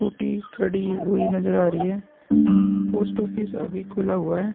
Scooty खड़ी हुई नजर आ रही है। पोस्ट ऑफिस अभी खुला हुआ है।